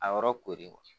A yɔrɔ koori